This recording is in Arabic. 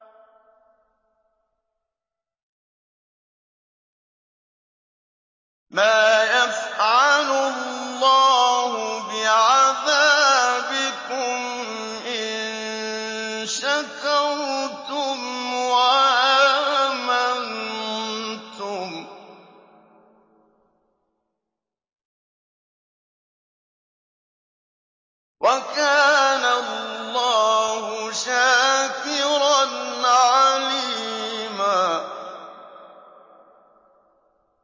مَّا يَفْعَلُ اللَّهُ بِعَذَابِكُمْ إِن شَكَرْتُمْ وَآمَنتُمْ ۚ وَكَانَ اللَّهُ شَاكِرًا عَلِيمًا